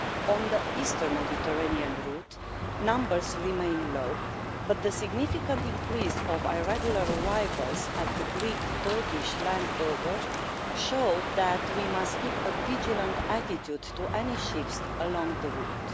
On the eastern Mediterranean route, numbers remain low, but the significant increase of irregular arrivals at the Greek Turkish land border shows that we must keep a vigilant attitude to any shifts along the route.